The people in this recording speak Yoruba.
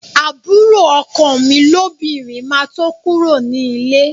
Àbúrò ọkọ mi lóbìnrin máa tó kúrò ní líle